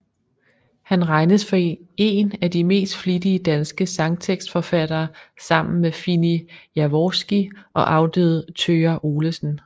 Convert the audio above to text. Han regnes for én af de mest flittige danske sangtekstforfattere sammen med Fini Jaworski og afdøde Thøger Olesen